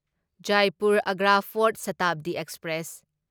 Jaipur Agra fort Shatabdi express